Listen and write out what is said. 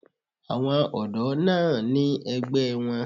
Àwọn ọ̀dọ́ náà ní ẹgbẹ́ wọn.